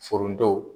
Foronto